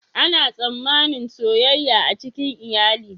Ana tsammanin soyayya a cikin iyali.